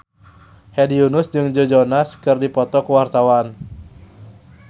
Hedi Yunus jeung Joe Jonas keur dipoto ku wartawan